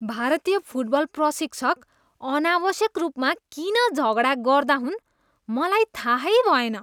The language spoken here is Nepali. भारतीय फुटबल प्रशिक्षक अनावश्यक रूपमा किन झगडा गर्दा हुन् मलाई थाहै भएन।